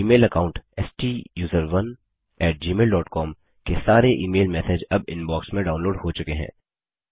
Gmail account स्टूसरोन gmailकॉम के सारे ईमेल मैसेज अब इनबॉक्स में डाऊनलोड हो चुके हैं